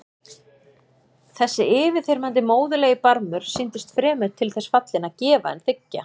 Þessi yfirþyrmandi móðurlegi barmur sýndist fremur til þess fallinn að gefa en þiggja.